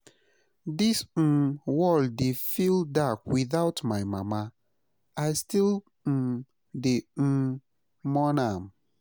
Dis um world dey feel dark witout my mama, I still um dey um mourn am.